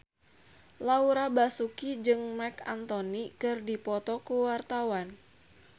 Laura Basuki jeung Marc Anthony keur dipoto ku wartawan